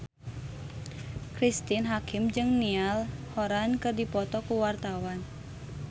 Cristine Hakim jeung Niall Horran keur dipoto ku wartawan